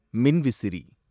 மின்விசிறி